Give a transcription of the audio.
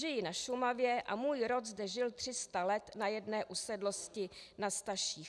Žiji na Šumavě a můj rod zde žil 300 let na jedné usedlosti na Staších.